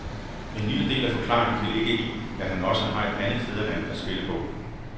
En lille del af forklaringen kan ligge i, at han også har et andet fædreland at spille på.